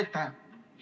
Suur aitäh!